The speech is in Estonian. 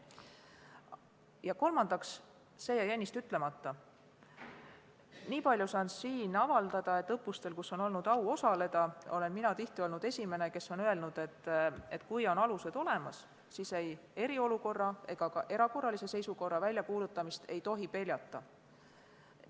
Ja kolmandaks, see jäi ennist ütlemata, niipalju saan siin avaldada, et õppustel, kus mul on au olnud osaleda, olen mina tihti olnud esimene, kes on öelnud, et kui alused on olemas, siis ei tohi eriolukorra ega ka erakorralise seisukorra väljakuulutamist peljata.